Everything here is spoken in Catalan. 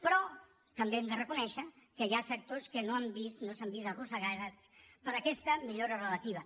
però també hem de reconèixer que hi ha sectors que no s’han vist arrossegats per aquesta millora relativa